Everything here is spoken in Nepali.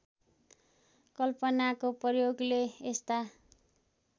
कल्पनाको प्रयोगले यस्ता